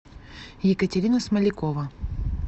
екатерина смолякова